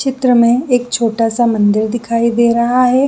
चित्र में एक छोटा सा मंदिर दिखाई दे रहा है।